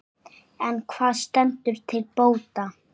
En hvað stendur til bóta?